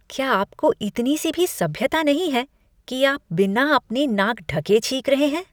क्या आपको इतनी सी सभ्यता नहीं है कि आप बिना अपनी नाक ढके छींक रहे हैं?